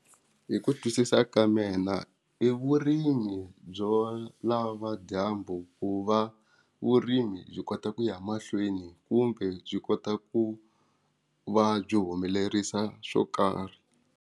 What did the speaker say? Hi ku twisisa ka mina i vurimi byo lava dyambu ku va vurimi byi kota ku ya mahlweni kumbe byi kota ku va byi humelerisa swo karhi.